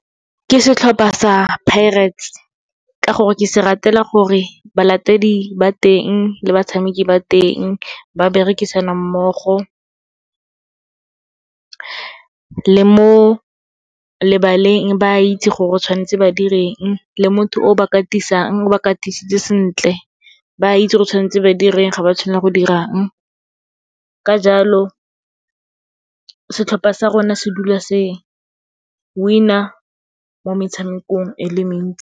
Ke setlhopha sa Pirates, ka gore ke se ratela gore balatedi ba teng le batshameki ba teng, ba berekisana mmogo. Le mo lebaleng ba itse gore tshwanetse ba direng, le motho o ba katisang, o ba katisitse sentle, ba itse gore tshwanetse ba direng, ga ba tshwanela go dirang. Ka jalo, setlhopha sa rona se dula se win-a mo metshamekong e le mentsi.